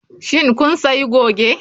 Shin kun sayi goge?